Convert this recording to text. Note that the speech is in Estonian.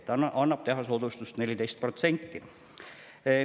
Nii saabki teha soodustust 14% ulatuses.